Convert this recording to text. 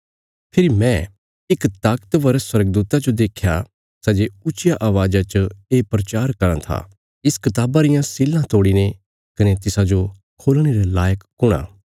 फेरी मैं इक ताकतवर स्वर्गदूता जो देख्या सै जे ऊच्चिया अवाज़ा च ये प्रचार कराँ था इस कताबा रियां सीलां तोड़ीने कने तिसाजो खोलणे रे लायक कुण आ